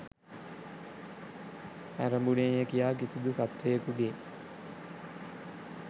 ඇරඹුනේය කියා කිසිදු සත්වයෙකුගේ